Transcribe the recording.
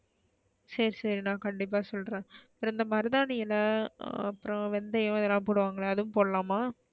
சரி சரி நான் கண்டிப்பா சொல்றேன் அப்றம் அந்த மருதாணி எலை அப்றம் வெந்தயம் இதுலா போடுவாங்களே அதுவும் போடலாமா,